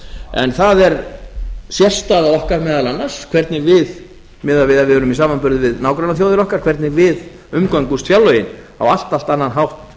en það er sérstaða okkar meðal annars hvernig við miðað við ef við erum í samanburði við nágrannaþjóðir okkar hvernig við umgöngumst fjárlögin á allt allt annan hátt